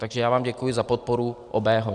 Takže já vám děkuji za podporu obého.